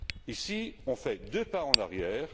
Ici, on fait deux pas en arrière.